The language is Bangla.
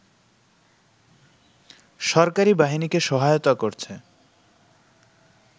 সরকারি বাহিনীকে সহায়তা করছে